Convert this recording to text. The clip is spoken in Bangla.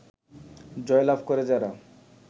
জয়লাভ করে যারা